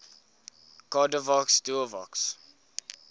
cordavox duovox